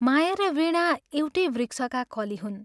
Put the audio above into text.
माया र वीणा एउटै वृक्षका कली हुन्।